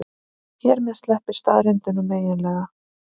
Hér með sleppir staðreyndunum eiginlega.